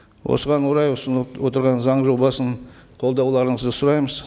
осыған орай ұсынып отырған заң жобасын қолдауларыңызды сұраймыз